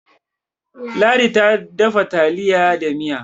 ladi ta dafa taliya da Miya